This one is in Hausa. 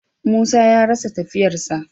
Musa ya rasa tafiyar sa.